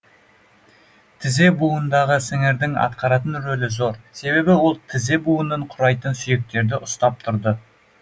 тізе буынындағы сіңірдің атқаратын рөлі зор себебі ол тізе буынын құрайтын сүйектерді ұстап тұрды